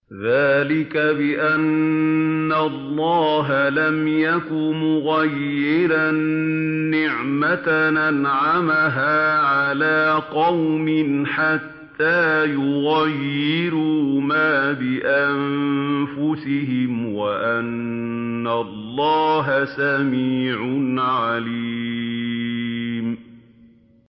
ذَٰلِكَ بِأَنَّ اللَّهَ لَمْ يَكُ مُغَيِّرًا نِّعْمَةً أَنْعَمَهَا عَلَىٰ قَوْمٍ حَتَّىٰ يُغَيِّرُوا مَا بِأَنفُسِهِمْ ۙ وَأَنَّ اللَّهَ سَمِيعٌ عَلِيمٌ